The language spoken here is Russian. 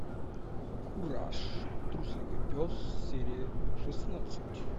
кураж трусливый пес серия шестнадцать